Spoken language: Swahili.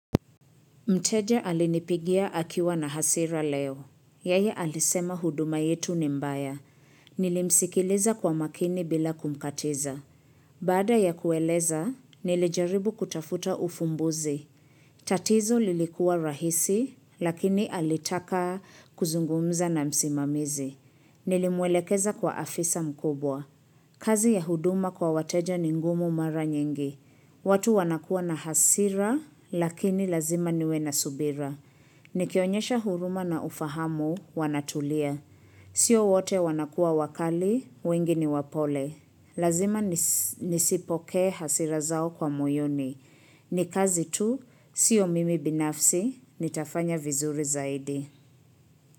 Mteja alinipigia akiwa na hasira leo. Yeye alisema huduma yetu ni mbaya. Nilimsikiliza kwa makini bila kumkatiza. Baada ya kueleza, nilijaribu kutafuta ufumbuzi. Tatizo lilikua rahisi, lakini alitaka kuzungumza na msimamizi. Nilimwelekeza kwa afisa mkubwa. Kazi ya huduma kwa wateja ni ngumu mara nyingi. Watu wanakua na hasira, lakini lazima niwe na subira. Nikionyesha huruma na ufahamu, wanatulia. Sio wote wanakua wakali, wengi ni wapole. Lazima nisi nisipokee hasira zao kwa moyoni. Ni kazi tu, sio mimi binafsi, nitafanya vizuri zaidi.